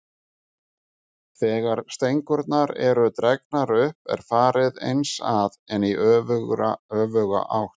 Þegar stengurnar eru dregnar upp er farið eins að, en í öfuga átt.